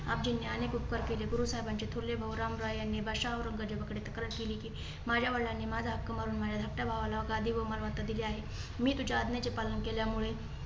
आपजीनी अनेक उपकार केले. गुरुसाहेबांचे थोरले भाऊ रामराय आणि बादशाह औरंगजेबाकडे तक्रार केली. की माझ्या वडिलांनी माझा हक्क मारून माझ्या धाकट्या भावाला गादी व मालमत्ता दिली आहे. मी तुझ्या आज्ञाचे पालन केल्यामुळे